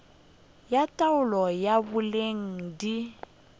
ya taolo ya boleng di